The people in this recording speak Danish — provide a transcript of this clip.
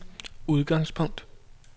udgangspunkt